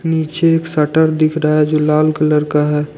नीचे एक शटर दिख रहा है। जो लाल कलर का है।